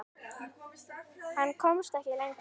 Hann komst ekki lengra.